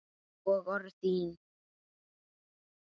Og orð þín.